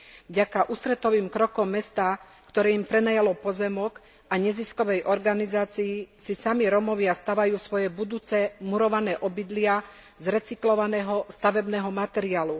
Vďaka ústretovým krokom mesta, ktoré im prenajalo pozemok, a neziskovej organizácii si sami Rómovia stavajú svoje budúce murované obydlia z recyklovaného stavebného materiálu.